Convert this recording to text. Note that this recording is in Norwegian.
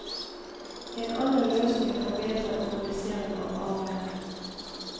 En annen løsning er bedre organisering av arbeidet.